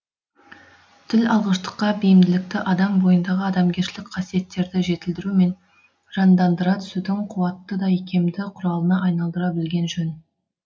тіл алғыштыққа бейімділікті адам бойындағы адамгершілік қасиеттерді жетілдіру мен жандандыра түсудің қуатты да икемді құралына айналдыра білген жөн